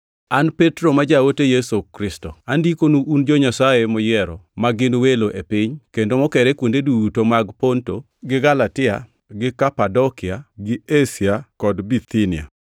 An Petro ma jaote Yesu Kristo, Andikonu un jo-Nyasaye moyiero ma gin welo e piny, kendo mokere kuonde duto mag Ponto, gi Galatia, gi Kapadokia, gi Asia kod Bithinia.